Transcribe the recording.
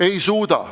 Ei suuda.